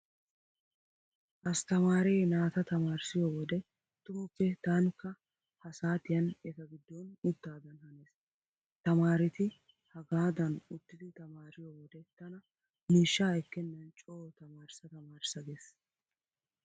Asttamaare naata tamaarissiyo wode tumuppe taanikka ha saatiyan eta giddon uttaadan hanees. Tamaareti hagaadan uttidi tamaariyo wode tana miishsha ekkennan coo tamaarissa tamaarissa gees.